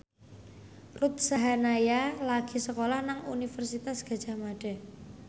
Ruth Sahanaya lagi sekolah nang Universitas Gadjah Mada